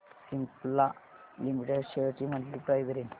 Cipla limited shares ची monthly price range